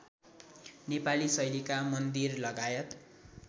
नेपाली शैलीका मन्दिरलगायत